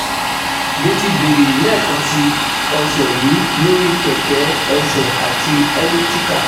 Mo ti bẹ̀rẹ̀ lẹẹkansi ọsẹ yi lori kẹkẹ ẹsẹ ati cs] elliptical